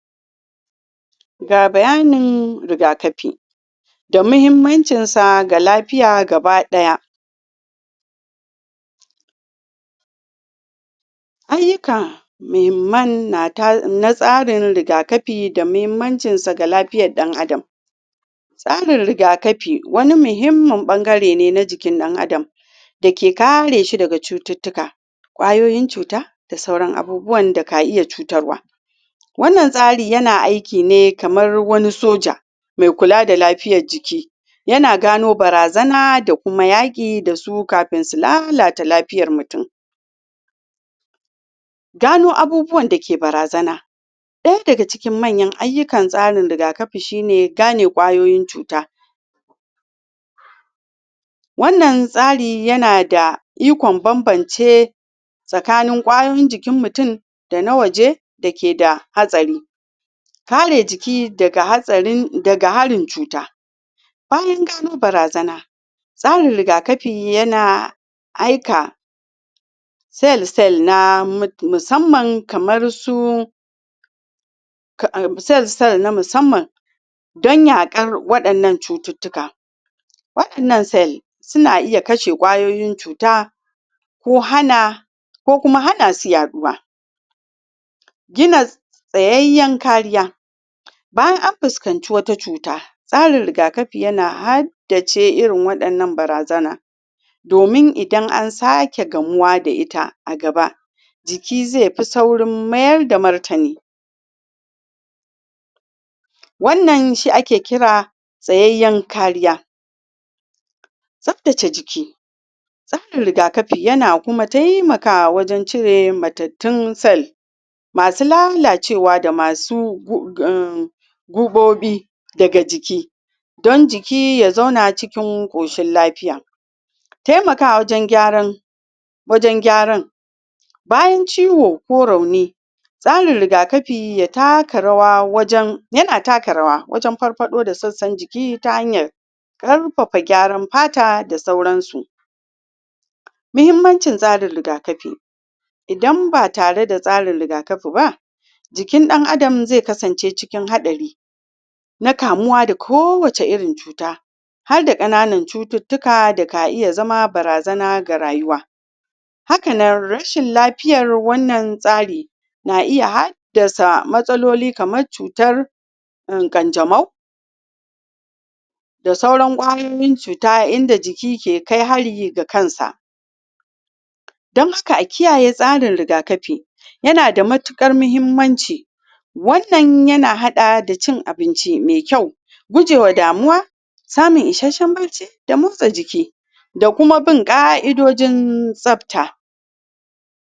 ga bayanin rigakafi da muhimmancin sa ga lafiya gabadaya muhimman na ta na tsarin rigakafi d muhimmancin sa ga lafiyan dan Adam tsarin rigakafi wani muhimman ɓangare ne na jikin dan Adam da ke kare shi daga cututuka kwayoyin cuta da sauran abubuwan da kaiya cutarwa wannan tsari ya na aiki ne kamar wani soja mai kula da lafiyan jiki ya na gano barazana da kuma yaki da su kafin su lalata lafiyar mutum gano abubuwan da ke barazana daya daga cikin manyan ayukan tsarin rigakafi shi ne gane kwayoyin cuta wannan tsari yana da ikon banbance tsakanin kwayoyin jikin mutum da na waje da ke da hatsari kare jiki daga hatsari daga harin cuta bayan gano barazana tsarin rigakafi yana aika cell cell na musamman kaman su cell cell kaman misamman danna kan wadannan cututuka wadannan cell su na iya kashe kwayoyin cuta ko hana ko kuma hana su yaduwa gina tsayayen kariya bayan an fuskanci wata cuta tsarin rigakafi yana haddace irinwadannan barazana domin idan an sake gamuwa da ita a gaba jikizai fi saurin mayar da martane wannan shi ake kira tsayayan kariya tsaftace jiki tsarin rigakafi yana kuma taimaka wajen cire mattatun cell masu lalacewa da masu um guɓobi daga ciki dan jiki ya zauna cikin koshin lafiya taimakawa wajen gyaran wajen gyaran bayan ciwo ko rauni tsarin rigakafi ya taka rawa wajen yana taka rawa wajen farfado da sassan jiki ta hanyar karfafan gyaran fata da sauran su muhimmancin tsarin rigakafi idan ba tare da tsarin rigakafi ba jikin dan Adam zai kasance cikin hadari na kamuwa da ko wace irin cuta har da kanan cututuka da ka iya zama barazana ga rayuwa hakanan rashin lafiyar wannan tari na iya haddasa matsaloli kamar cutar um kanjamau da sauran kwayoyin cuta a inda jiki ke kai hari da kansa dan haka a kiyaye tsarin rigakafi yana da matukar muhimmanci wannan yana hada da cin abinci mai kyau gujewa damuwa samun isashen bacci da motsa jiki da kuma bin ka'idojin tsafta